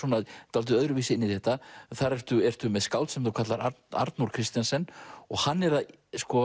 dálítið öðruvísi inn í þetta þar ertu ertu með skáld sem þú kallar Arnór Kristensen og hann er að